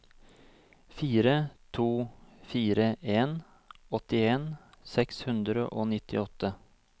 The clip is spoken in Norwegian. fire to fire en åttien seks hundre og nittiåtte